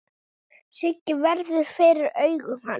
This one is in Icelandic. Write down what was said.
Sigga verður fyrir augum hans.